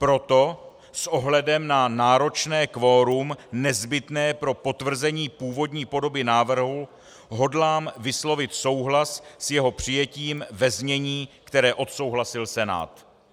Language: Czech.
Proto s ohledem na náročné kvorum nezbytné pro potvrzení původní podoby návrhu hodlá vyslovit souhlas s jeho přijetím ve znění, které odsouhlasil Senát.